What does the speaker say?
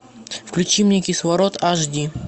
включи мне кислород аш ди